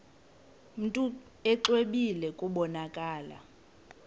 mntu exwebile kubonakala